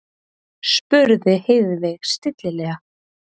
spurði Heiðveig stillilega.